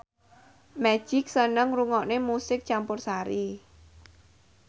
Magic seneng ngrungokne musik campursari